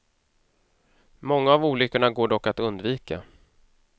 Många av olyckorna går dock att undvika.